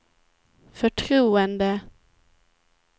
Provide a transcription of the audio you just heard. förtroende